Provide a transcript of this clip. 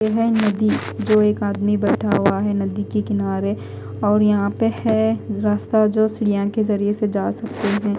ये है नदी जो एक आदमी बेठा हुआ है नदी के किनारे और यहा पे है रास्ता जो यहा के जरिये से जा सकते है।